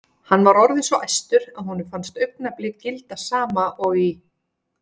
Hann var orðinn svo æstur að honum fannst augnablik gilda sama og í